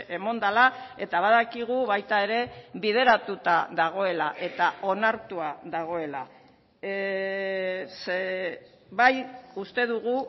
eman dela eta badakigu baita ere bideratuta dagoela eta onartua dagoela bai uste dugu